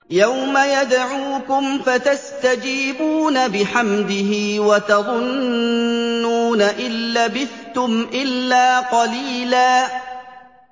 يَوْمَ يَدْعُوكُمْ فَتَسْتَجِيبُونَ بِحَمْدِهِ وَتَظُنُّونَ إِن لَّبِثْتُمْ إِلَّا قَلِيلًا